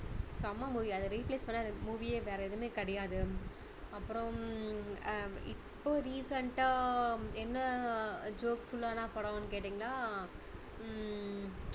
செம்ம movie அதை replace பண்ண எனக்கு movie யே வேற எதுவுமே கிடையாது அப்பறம் அஹ் இப்போ recent டா என்ன jokeful லான படம்னு கேட்டீங்கன்னா ஹம்